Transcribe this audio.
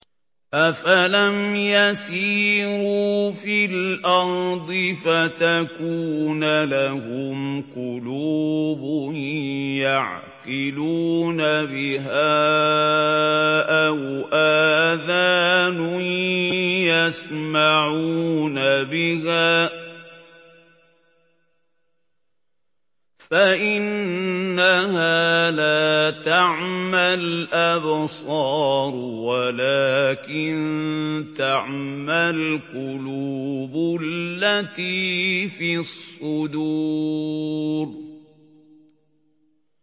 أَفَلَمْ يَسِيرُوا فِي الْأَرْضِ فَتَكُونَ لَهُمْ قُلُوبٌ يَعْقِلُونَ بِهَا أَوْ آذَانٌ يَسْمَعُونَ بِهَا ۖ فَإِنَّهَا لَا تَعْمَى الْأَبْصَارُ وَلَٰكِن تَعْمَى الْقُلُوبُ الَّتِي فِي الصُّدُورِ